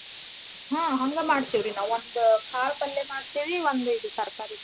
ಹಾ ಹಂಗ ಮಾಡ್ತಿವ್ರಿ ನಾವ್ ಒಂದ್ ಕಾಳ್ಪಲ್ಯ ಮಾಡ್ತೀವಿ ಒಂದ್ ಇದ್ ತರ್ಕಾರೀ ಮಾಡ್ತಿವ್.